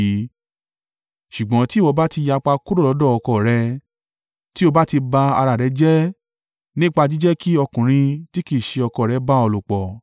Ṣùgbọ́n tí ìwọ bá ti yapa kúrò lọ́dọ̀ ọkọ rẹ, tí o bá ti ba ara rẹ jẹ́ nípa jíjẹ́ kí ọkùnrin tí kì í ṣe ọkọ rẹ bá ọ lòpọ̀,”